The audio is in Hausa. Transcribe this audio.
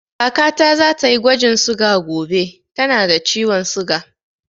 Kaka ta za ta yi gwajin suga gobe, ta na da ciwon suga